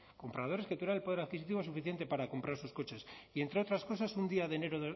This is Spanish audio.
compradores que tuvieran el poder adquisitivo suficiente para comprar sus coches y entre otras cosas un día de enero